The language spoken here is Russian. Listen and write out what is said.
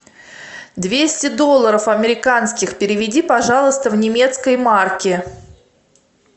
двести долларов американских переведи пожалуйста в немецкие марки